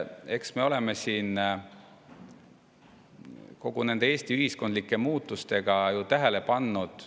Eks me oleme seda siin kõigi nende Eesti ühiskondlike muutustega tähele pannud.